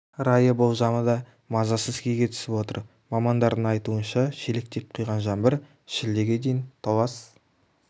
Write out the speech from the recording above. райы болжамы да мазасыз күйге түсіріп отыр мамандардың айтуынша шелектеп құйған жаңбыр шілдеге дейін толас